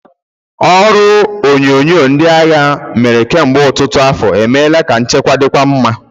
Ọrụ onyunyo ndị agha mere kemgbe ọtụtụ afọ emeela ka nchekwa dịkwuo mma.